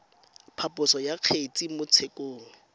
phaposo ya kgetse mo tshekong